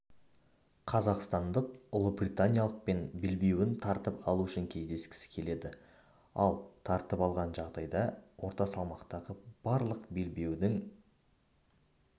қазақстандық ұлыбританиялықпен белбеуін тартып алу үшін кездескісі келеді ал тартып алған жағдайда орта салмақтағы барлық белбеудің